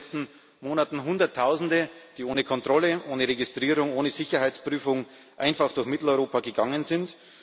Wir hatten in den letzten Monaten Hunderttausende, die ohne Kontrolle, ohne Registrierung, ohne Sicherheitsprüfung einfach durch Mitteleuropa gegangen sind.